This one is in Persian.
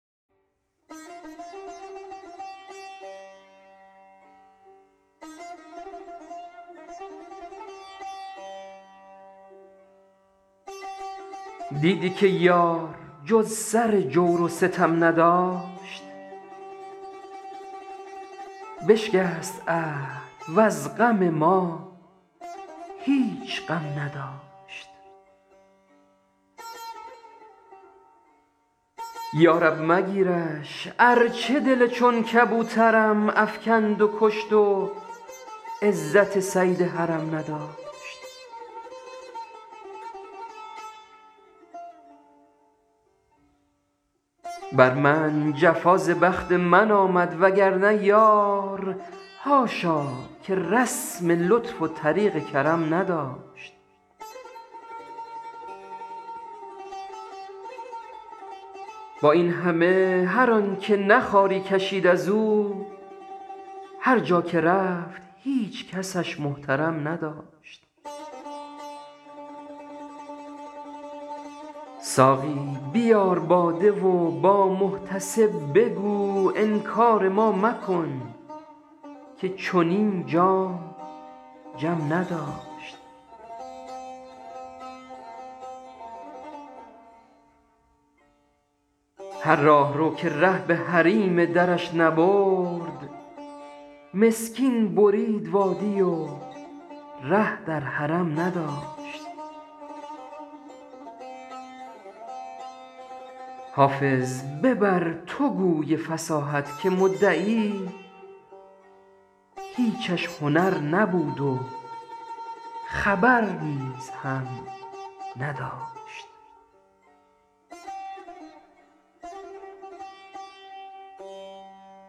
دیدی که یار جز سر جور و ستم نداشت بشکست عهد وز غم ما هیچ غم نداشت یا رب مگیرش ارچه دل چون کبوترم افکند و کشت و عزت صید حرم نداشت بر من جفا ز بخت من آمد وگرنه یار حاشا که رسم لطف و طریق کرم نداشت با این همه هر آن که نه خواری کشید از او هر جا که رفت هیچ کسش محترم نداشت ساقی بیار باده و با محتسب بگو انکار ما مکن که چنین جام جم نداشت هر راهرو که ره به حریم درش نبرد مسکین برید وادی و ره در حرم نداشت حافظ ببر تو گوی فصاحت که مدعی هیچش هنر نبود و خبر نیز هم نداشت